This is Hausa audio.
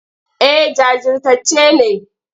Eh jajirtacce ne.